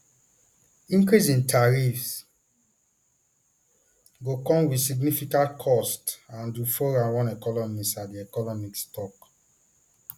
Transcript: increase in tariffs go come wit significant costs andrew foran one economist at td economics tok